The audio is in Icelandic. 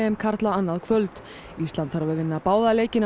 karla annað kvöld ísland þarf að vinna báða leikina